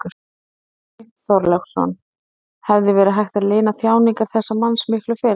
Björn Þorláksson: Hefði verið hægt að lina þjáningar þessa manns miklu fyrr?